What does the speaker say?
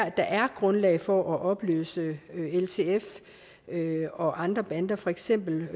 at der er grundlag for at opløse ltf og andre bander for eksempel